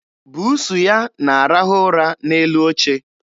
Buusu ya na-arahụ ụra n'elu oche.